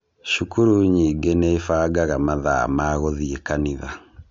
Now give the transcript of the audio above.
Cukuru nyingĩ nibangaga mathaa ma gũthiĩ kanitha.